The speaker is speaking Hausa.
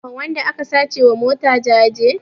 Ana wa wanda aka sace wa mota jaje